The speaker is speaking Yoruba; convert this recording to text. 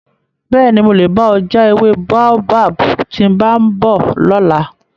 Bẹ́ẹ̀ni, mo lè bá ọ já ewé Baobab tí mo bá ń bọ̀ lọ́la.